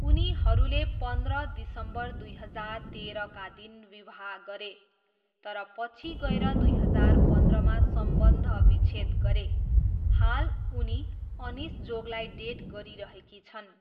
उनीहरूले पन्ध्र दिसम्बर दुई हजार तेह्रका दिन विवाह गरे, तर पछि गएर दुई हजार पन्ध्रमा सम्बन्धविच्छेद गरे। हाल, उनी अनिश जोगलाई डेट गरिरहेकी छन्।